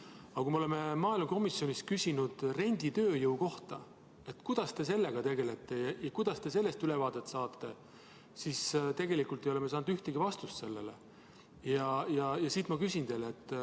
Aga kui me oleme maaelukomisjonis küsinud renditööjõu kohta, kuidas te sellega tegelete ja kuidas te sellest ülevaadet saate, siis ei ole me saanud ühtegi vastust.